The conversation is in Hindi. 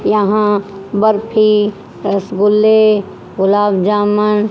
यहां बर्फी रसगुल्ले गुलाबजामन --